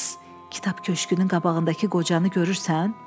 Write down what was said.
Siz kitab köşünün qabağındakı qocanı görürsən?